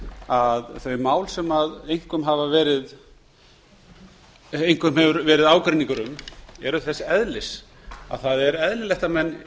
að þau mál sem einkum hafa verið ágreiningur um eru þess eðlis að það er eðlilegt að menn